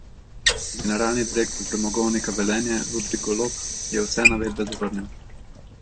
Generalni direktor Premogovnika Velenje Ludvik Golob je vse navedbe zavrnil.